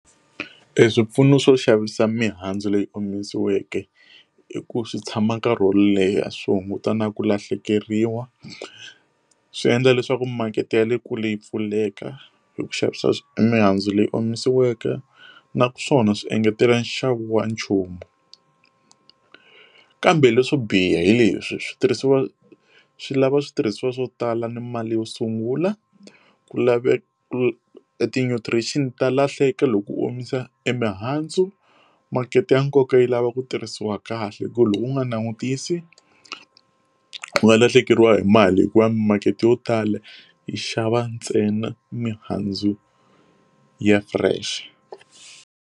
E swipfuno swo xavisa mihandzu leyi omisiweke i ku swi tshama nkarhi wo leha swi hunguta na ku lahlekeriwa swi endla leswaku makete ya le kule yi pfuleka hi ku xavisa mihandzu leyi omisiweke naswona swi engetela nxavo wa nchumu kambe leswo biha hi leswi switirhisiwa swi lava switirhisiwa swo tala ni mali yo sungula ku laveka ti nutrients ta lahleka loku omisa e mihandzu makete ya nkoka yi lava ku tirhisiwa kahle hi ku loko u nga langutisi u nga lahlekeriwa hi mali hikuva makete yo tala yi xava ntsena mihandzu ya fresh.